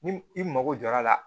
Ni i mago jɔra a la